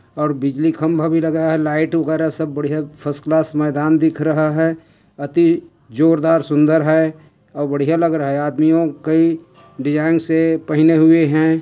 और बिजली खम्बा भी लगा है लाइट वगेरा सब बढ़िया फर्स्ट क्लास मैदान दिख रहा है अति जोर दार सुन्दर है और बढ़िया लग रहा है यार दुनु कई डिजाईन से पहने हुए है।